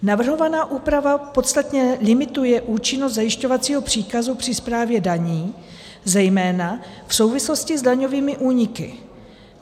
Navrhovaná úprava podstatně limituje účinnost zajišťovacího příkazu při správě daní, zejména v souvislosti s daňovými úniky.